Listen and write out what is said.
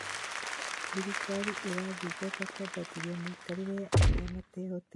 Thirikari ĩrathingata kũambatĩria mĩikarĩre ya arĩa matehotete